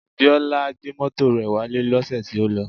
Biola gbé mọ́tò rẹ̀ wálé lọ́sẹ̀ tí ó lọ